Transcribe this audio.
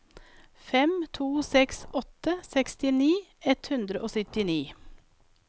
fem to seks åtte sekstini ett hundre og syttini